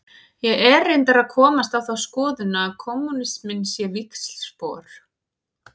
Ég er reyndar að komast á þá skoðun að kommúnisminn sé víxlspor.